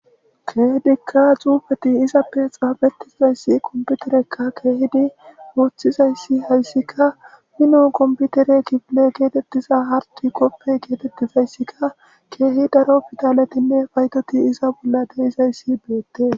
keedikka xuufeti izappe xaafetizayssi komputerekka keehidi woothizayssi hayssika minon komputere kibile geetettiza harti koppe geetettizayssikka keehi daro pidaletinne paytoti iza bolla deizayssi beettes.